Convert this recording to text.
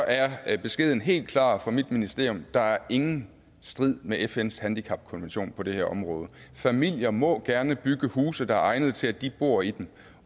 er er beskeden helt klar fra mit ministerium der er ingen strid med fns handicapkonvention på det her område familier må gerne bygge huse der er egnede til at de bor i dem